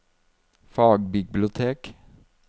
fagbibliotek